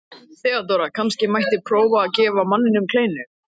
THEODÓRA: Kannski mætti prófa að gefa manninum kleinu?